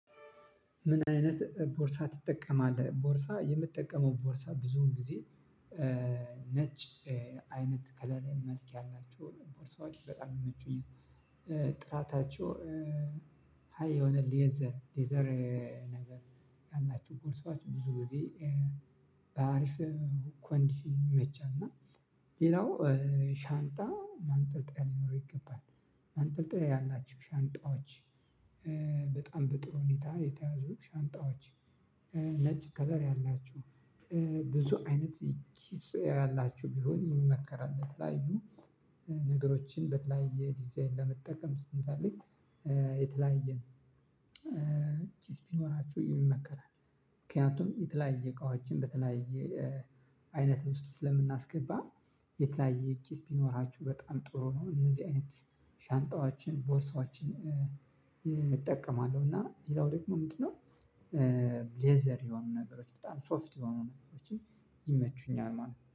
ምን አይነት ቦርሳ ትጠቀማለህ ቦርሳ የምጠቀመው ቦርሳ ብዙውን ጊዜ ነጭ አይነት ከለር መልክ ያላቸው ቦርሳዎች በጣም ይመቹኛል። ጥራታቸው ሃይ የሆነ ሌዘር ሌዘር ነገር ያላችው ቦርሳዎች ብዙ ጊዜ በአሪፍ ኮንዲሽን ይመቻል። እና ሌላው ሻንጣ ማንጠልጠያ ሊኖረው ይገባል ማንጠልጠያ ያላቸው ሻንጣዎች በጣም በጥሩ ሁኔታ የተያዙ ሻንጣዎች። ነጭ ከለር ያላችው ብዙ አይነት ኪስ ያላችው ቢሆን ይመከራል ለተለያዩ ነገሮችን በተለያየ ዲዛይን ለመጠቀም ስንፈልግ። ኪስ ቢኖራቸው ይመከራል ምክንያቱም የተለያየ እቃዎችን በተለያየ አይነት ውስጥ ስለምናስገባ የተለያየ ኪስ ቢኖራቸው በጣም ጥሩ ነው። እነዚህ አይነት ሻንጣዋችን ቦርሳዎችን እጠቀማለሁ እና ሌላው ደግሞ ምንድነው? ሌዘር የሆኑ ነገሮች በጣም ሶፍት የሆኑ ነገሮችን ይመቹኛል ማለት ነው